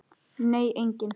Nei, enginn